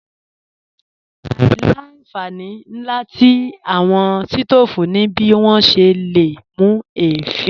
Àìlà-nfàní nlà tí awọn sítoofú ní bí wọn ṣè lé mú ẹ̀fìn.